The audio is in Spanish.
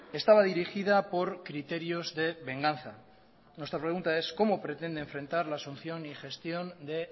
estaba dirigida por criterios de venganza nuestra pregunta es cómo pretende enfrentar la asunción y gestión de